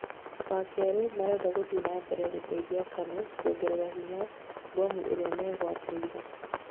wakerĩ marenda gũthiĩ na mbere gũteithia KANU kuongerera hinya mbomu iria megwatĩire